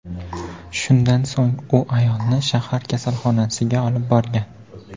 Shundan so‘ng u ayolni shahar kasalxonasiga olib borgan.